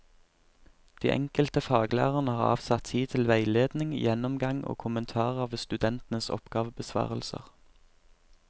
De enkelte faglærerne har avsatt tid til veiledning, gjennomgang og kommentar av studentenes oppgavebesvarelser.